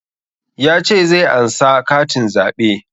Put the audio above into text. Ya ce zai ansa katin zaɓe